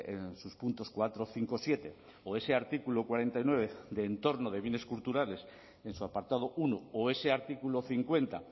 en sus puntos cuatro cinco siete o ese artículo cuarenta y nueve de entorno de bienes culturales en su apartado uno o ese artículo cincuenta